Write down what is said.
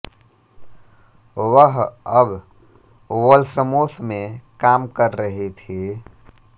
वह अब वोल्समोस में काम कर रही थी